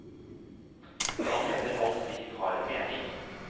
Han mener alt liv har en mening.